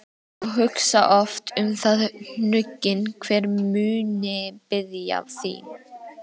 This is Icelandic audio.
og hugsa oft um það hnugginn, hver muni biðja þín.